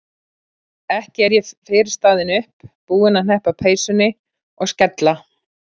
Ekki er ég fyrr staðin upp, búin að hneppa peysunni og skella